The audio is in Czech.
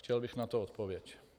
Chtěl bych na to odpověď.